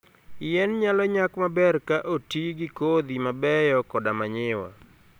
Yien nyalo nyak maber ka oti gi kodhi mabeyo koda manyiwa.